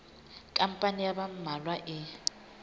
khampani ya ba mmalwa e